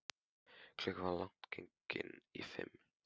Klukkan var langt gengin í fimm.